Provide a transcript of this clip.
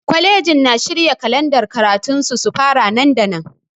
Kwalejin na shirya kalandar karatun su su fara nan da nan.